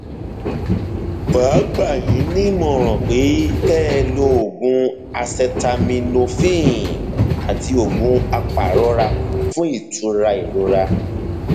màá gbà yín nímọràn pé kẹ ẹ lo oògùn acetaminophen àti oògùn apàrora fún ìtura ìrora